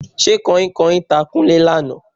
Ṣé Kanhinkanhin ta Kúnlé lánàá?